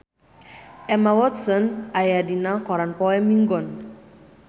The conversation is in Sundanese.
Emma Watson aya dina koran poe Minggon